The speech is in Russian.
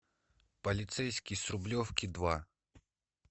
полицейский с рублевки два